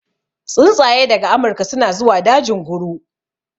Tsuntsaye daga amurka suna zuwa dajin guru